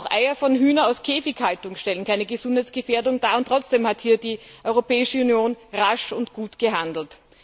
Auch Eier von Hühnern aus Käfighaltung stellen keine Gesundheitsfährdung dar, und trotzdem hat hier die Europäische Union rasch und gut gehandelt.